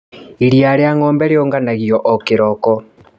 Iria rĩa ngombe rĩũnganagio o kĩroko.